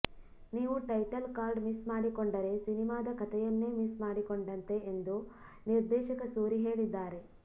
ನೀವು title card miss ಮಾಡಿಕೊಂಡರೆ ಸಿನಿಮಾದ ಕಥೆಯನ್ನೇ ಮಿಸ್ ಮಾಡಿಕೊಂಡಂತೆ ಎಂದು ನಿರ್ದೇಶಕ ಸೂರಿ ಹೇಳಿದ್ದಾರೆ